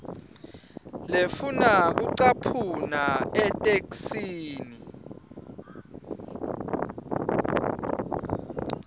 lefuna kucaphuna etheksthini